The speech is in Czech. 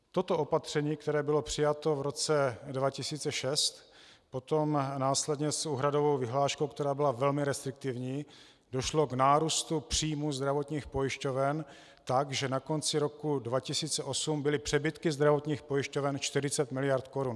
Toto opatření, které bylo přijato v roce 2006, potom následně s úhradovou vyhláškou, která byla velmi restriktivní, došlo k nárůstu příjmů zdravotních pojišťoven tak, že na konci roku 2008 byly přebytky zdravotních pojišťoven 40 miliard korun.